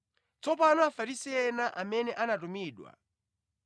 Tsopano Afarisi ena amene anatumidwa